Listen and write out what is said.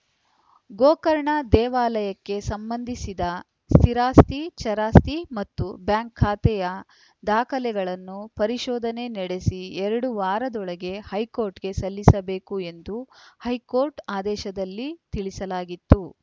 ಗೋಕರ್ಣ ದೇವಾಲಯಕ್ಕೆ ಸಂಬಂಧಿಸಿದ ಸ್ಥಿರಾಸ್ತಿ ಚರಾಸ್ತಿ ಮ್ತತು ಬ್ಯಾಂಕ್‌ ಖಾತೆಯ ದಾಖಲೆಗಳನ್ನು ಪರಿಶೋಧನೆ ನಡೆಸಿ ಎರಡು ವಾರದೊಳಗೆ ಹೈಕೋರ್ಟ್‌ಗೆ ಸಲ್ಲಿಸಬೇಕು ಎಂದು ಹೈಕೋರ್ಟ್‌ ಆದೇಶದಲ್ಲಿ ತಿಳಿಸಲಾಗಿತ್ತು